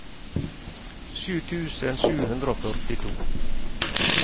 sju tusen sju hundre og førtito